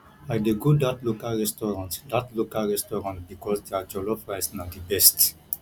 i dey go dat local restaurant dat local restaurant because their jollof rice na di best